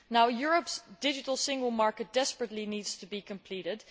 Europe's digital single market desperately needs to be completed.